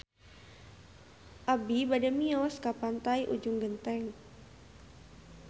Abi bade mios ka Pantai Ujung Genteng